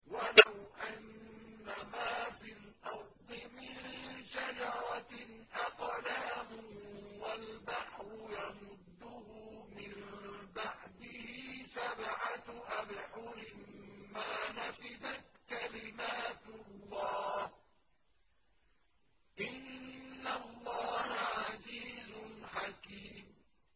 وَلَوْ أَنَّمَا فِي الْأَرْضِ مِن شَجَرَةٍ أَقْلَامٌ وَالْبَحْرُ يَمُدُّهُ مِن بَعْدِهِ سَبْعَةُ أَبْحُرٍ مَّا نَفِدَتْ كَلِمَاتُ اللَّهِ ۗ إِنَّ اللَّهَ عَزِيزٌ حَكِيمٌ